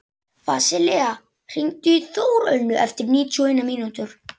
Vasilia, hringdu í Þórönnu eftir níutíu og eina mínútur.